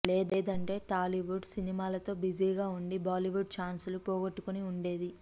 లేదంటే టాలీవుడ్ సినిమాలతో బిజీగా వుండి బాలీవుడ్ ఛాన్సులు పోగొట్టుకుని వుండేది